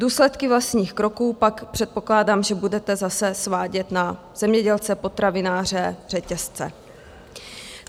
Důsledky vlastních kroků pak předpokládám, že budete zase svádět na zemědělce, potravináře, řetězce.